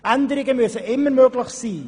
Änderungen müssen immer möglich sein.